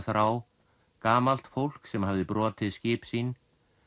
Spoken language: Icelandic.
þrá gamalt fólk sem hafði brotið skip sín